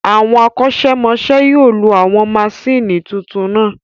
Àwọn akosemose yóò lo àwọn maṣíìnì tuntun náà